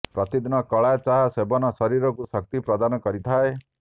ପ୍ରତିଦିନ କଳା ଚା ସେବନ ଶରୀରକୁ ଶକ୍ତି ପ୍ରଦାନ କରିଥାଏ